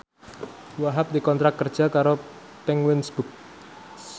Wahhab dikontrak kerja karo Penguins Books